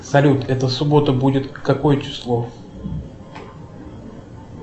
салют эта суббота будет какое число